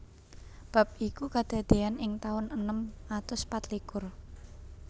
Bab iku kadadéyan ing taun enem atus patlikur